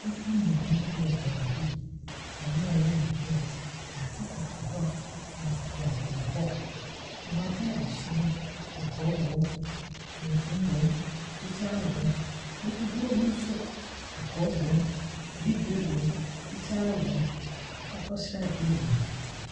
Nnipa mmienu bi wɔ baabi. Wɔreyɛ adeɛ. Baako koto hɔ, baako kokɔn hɔ. Wɔn atadesuo no kɔkɔɔ wɔ mu, tuntum wɔ mu, fitaa wɔ mu. Mfisie no nso kɔkɔɔ wɔ mu, bibire wɔ mu, fitaa wɔ mu, akokɔsradeɛ wɔ mu.